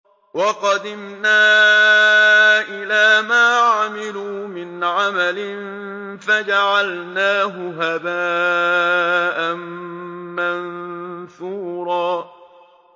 وَقَدِمْنَا إِلَىٰ مَا عَمِلُوا مِنْ عَمَلٍ فَجَعَلْنَاهُ هَبَاءً مَّنثُورًا